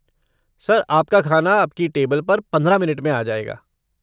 Sir, आपका खाना आपकी टेबल पर पंद्रह मिनट में आ जाएगा।